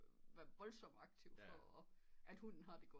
Være voldsom aktiv før hunden har det godt